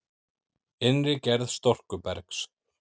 Innri gerð storkubergs